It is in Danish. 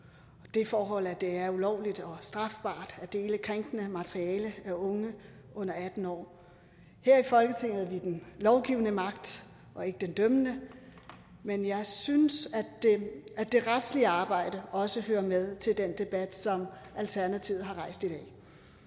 det forhold at det er ulovligt og strafbart at dele krænkende materiale af unge under atten år her i folketinget er vi den lovgivende magt og ikke den dømmende men jeg synes at det retslige arbejde også hører med til den debat som alternativet har rejst i dag